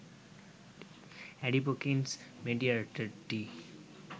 adipokines মেডিয়েটারটি